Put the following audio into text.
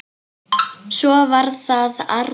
Svo var það Arnþór.